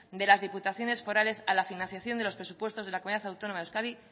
de las diputaciones forales a la financiación de los presupuestos de la comunidad autónoma de euskadi